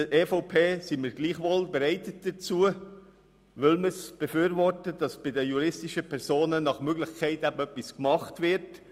Seitens der EVP sind wir gleichwohl dazu bereit, weil wir befürworten, dass bei den juristischen Personen nach Möglichkeit etwas gemacht wird.